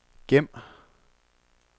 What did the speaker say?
gem